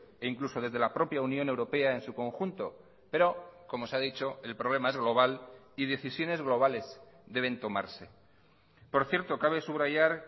e incluso desde la propia unión europea en su conjunto pero como se ha dicho el problema es global y decisiones globales deben tomarse por cierto cabe subrayar